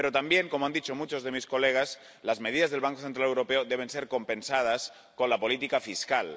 Pero también, como han dicho muchos de mis colegas, las medidas del Banco Central Europeo deben ser compensadas con la política fiscal.